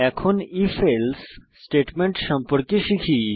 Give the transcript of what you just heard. এখন if else statement সম্পর্কে শিখব